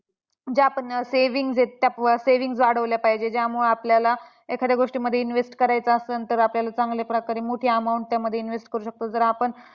जे आपण savings आहेत savings वाढवल्या पाहिजेत. ज्यामुळे आपल्याला एखाद्या गोष्टींमध्ये invest करायचं आसन तर, आपल्याला चांगल्या प्रकारे मोठी amount त्यामध्ये invest करू शकतो. जर आपण